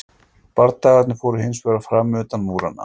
Bardagarnir fóru hins vegar fram utan múranna.